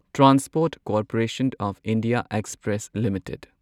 transport corporation of India express limited